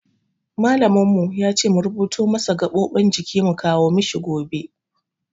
Malamin mu ya ce mu rubuto masa gaɓoɓin jiki mu kawo mishi gobe.